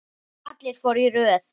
Allir fóru í röð.